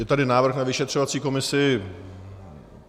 Je tady návrh na vyšetřovací komisi.